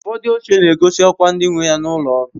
Ufodu oche na-egosi okwa ndi nweya n'ulo ọrụ